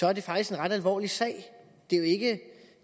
er det faktisk en ret alvorlig sag det er jo ikke